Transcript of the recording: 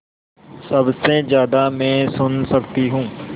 सबसे ज़्यादा मैं सुन सकती हूँ